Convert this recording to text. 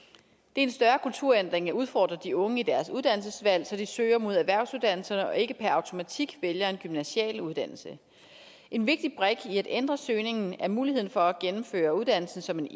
en større kulturændring at udfordre de unge i deres uddannelsesvalg så de søger mod erhvervsuddannelserne og ikke per automatik vælger en gymnasial uddannelse en vigtig brik i at ændre søgningen er muligheden for at gennemføre uddannelsen som en